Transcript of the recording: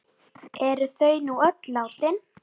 Eru þau nú öll látin.